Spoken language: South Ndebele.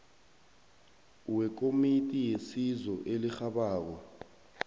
wekomiti yesizo elirhabako